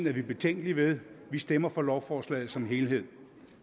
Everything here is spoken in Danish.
er vi betænkelige ved vi stemmer for lovforslaget som helhed